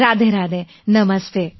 Radhe રાધેનમસ્તે